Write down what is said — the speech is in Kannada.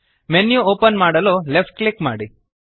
ಮೆನ್ಯು ಓಪನ್ ಮಾಡಲು ಲೆಫ್ಟ್ ಕ್ಲಿಕ್ ಮಾಡಿ